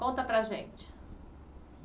Conta para a gente.